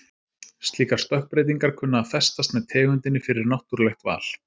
Slíkar stökkbreytingar kunna að festast með tegundinni fyrir náttúrlegt val.